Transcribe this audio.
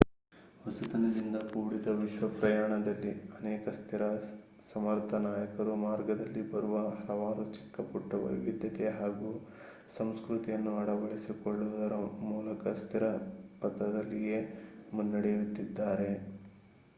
ಹೊಸತನದಿಂದ ಕೂಡಿದ ವಿಶ್ವ ಪ್ರಯಾಣದಲ್ಲಿ ಅನೇಕ ಸ್ಥಿರ ಸಮರ್ಥ ನಾಯಕರು ಮಾರ್ಗದಲ್ಲಿ ಬರುವ ಹಲವಾರು ಚಿಕ್ಕಪುಟ್ಟ ವೈವಿಧ್ಯತೆ ಹಾಗೂ ಸಂಸ್ಕೃತಿಯನ್ನು ಅಳವಡಿಸಿಕೊಳ್ಳುವುದರ ಮೂಲಕ ಸ್ಥಿರ ಪಥದಲ್ಲಿಯೇ ಮುನ್ನಡೆಯುತ್ತಿದ್ದಾರೆ